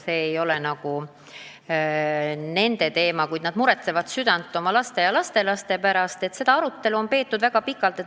Seda arutelu on peetud väga pikalt.